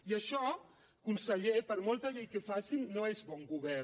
i això conseller per molta llei que facin no és bon govern